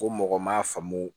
Ko mɔgɔ m'a faamu